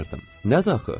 Nədir axı?